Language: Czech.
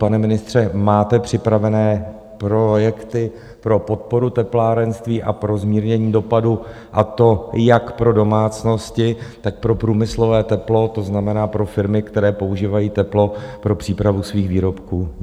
Pane ministře, máte připravené projekty pro podporu teplárenství a pro zmírnění dopadu, a to jak pro domácnosti, tak pro průmyslové teplo, to znamená pro firmy, které používají teplo pro přípravu svých výrobků?